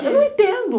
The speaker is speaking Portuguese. Eu não entendo.